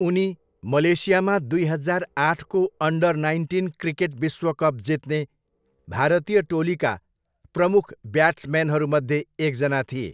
उनी मलेसियामा दुई हजार आठको अन्डर नाइन्टिन क्रिकेट विश्वकप जित्ने भारतीय टोलीका प्रमुख ब्याट्समेनहरूमध्ये एकजना थिए।